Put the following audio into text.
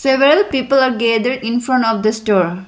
several people are gathered infront of the store.